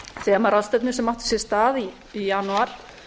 þemaráðstefnu sem átti sér stað í janúar